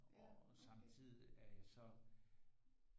Og samtidigt er jeg så